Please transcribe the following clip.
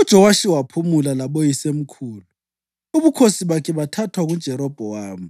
UJowashi waphumula laboyisemkhulu, ubukhosi bakhe bathathwa nguJerobhowamu.